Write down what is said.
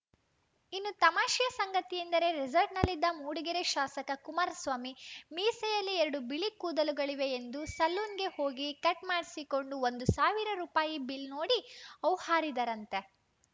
ಇನ್ನೂ ತಮಾಷೆಯ ಸಂಗತಿ ಎಂದರೆ ರೆಸಾರ್ಟ್‌ನಲ್ಲಿದ್ದ ಮೂಡಿಗೆರೆ ಶಾಸಕ ಕುಮಾರಸ್ವಾಮಿ ಮೀಸೆಯಲ್ಲಿ ಎರಡು ಬಿಳಿ ಕೂದಲುಗಳಿವೆ ಎಂದು ಸಲೂನ್‌ಗೆ ಹೋಗಿ ಕಟ್‌ ಮಾಡಿಸಿಕೊಂಡು ಒಂದು ಸಾವಿರ ರುಪಾಯಿ ಬಿಲ ನೋಡಿ ಹೌಹಾರಿದರಂತೆ